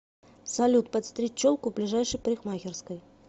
салют подстричь челку в ближайшей парикмахерской